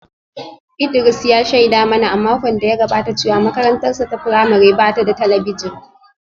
Idris ya shaida mana a makon da ya gabata cewa makarantarsa ​​ta firamare ba ta da talabijin